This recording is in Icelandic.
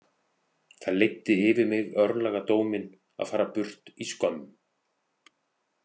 Það leiddi yfir mig örlagadóminn- að fara burt í skömm.